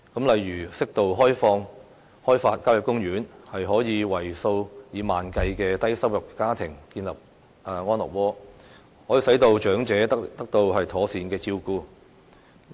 例如，適度開發郊野公園可以為數以萬計的低收入家庭建立安樂窩，可以使長者得到妥善的照顧。